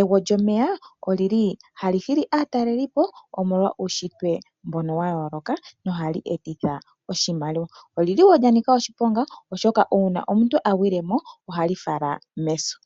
egwo lyomeya olili hali hili aatalelipo omolwa uushitwe walyo wa yooloka, nohali etitha oshimaliwa. olili wo lya nika oshiponga molwashoka uuna omuntu a gwile ko ohali fala meso.